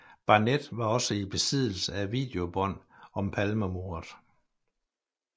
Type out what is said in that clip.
Barnett var også i besiddelse af videobånd om Palmemordet